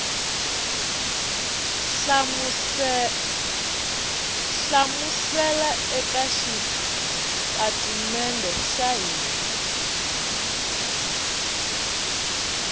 hlamusela eka xitatimede xa hina